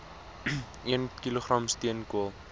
een kilogram steenkool